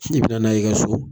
bi nana y'i ka so.